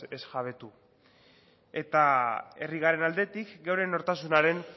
ez jabetu eta herri garen aldetik geure nortasunaren